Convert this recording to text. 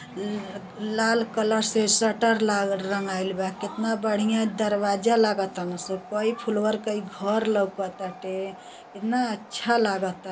ल् लाल कलर से शटर ला रंगाइल बा। केतना बढ़ियां दरवाजा लागतान सन। कई फुलवर कई घर लउकताटे। एतना अच्छा लागता।